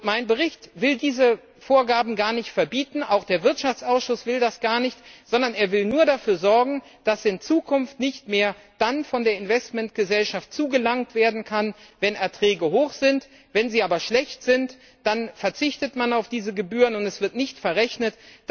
Mein Bericht will diese Vorgaben gar nicht verbieten, auch der Wirtschaftsausschuss will das gar nicht, sondern er will nur dafür sorgen, dass in Zukunft nicht mehr dann von der Investmentgesellschaft zugelangt werden kann, wenn die Erträge hoch sind, wenn sie aber schlecht sind, dann verzichtet man auf diese Gebühren, und sie werden nicht verrechnet.